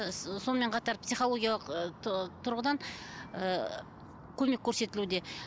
ы сонымен қатар психологиялық ыыы тұрғыдан ыыы көмек көрсетілуде